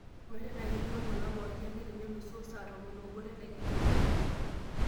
ng'urai tenaa ketii oltuala pooki ake tenelusoo saa tomon oobo tedekenya